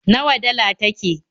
Nawa dala take?